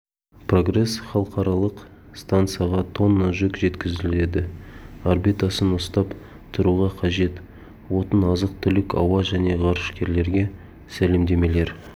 прогресс халықаралық стансаға тонна жүк жеткізеді орбитасын ұстап тұруға қажет отын азық-түлік ауа және ғарышкерлерге сәлемдемелер